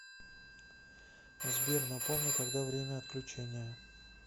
сбер напомни когда время отключения